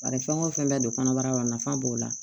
Bari fɛn o fɛn bɛ don kɔnɔbara la nafa b'o la